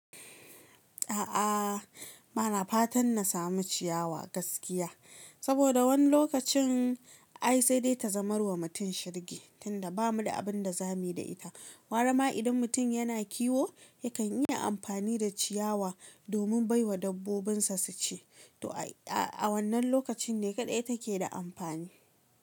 A'a, bana fatan na samu ciyawa gaskiya. Saboda wani lokacin ai sai dai ta zamarwa mutum shirgi tunda ba mu da abin da za mu yi da ita. Gwara ma idan mutum yana kiwo yakan yi amfani da ciyawa domin bai wa dabbobin sa su ci. To a wannan lokacin ne kaɗai take da ampani.